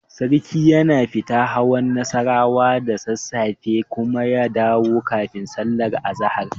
Sarki yana fita hawan Nassarawa da sassafe kuma ya dawo kafin sallar azahar.